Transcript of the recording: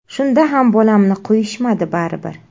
Shunda ham bolamni qo‘yishmadi baribir.